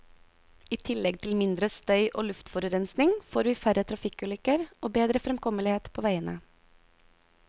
I tillegg til mindre støy og luftforurensning får vi færre trafikkulykker og bedre fremkommelighet på veiene.